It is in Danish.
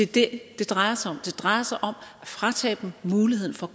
det det drejer sig om det drejer sig om at fratage dem muligheden for